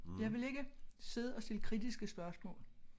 Jeg vil ikke sidde og sige kritiske spørgsmål